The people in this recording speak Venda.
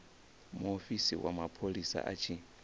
muofisi wa mapholisa a tshi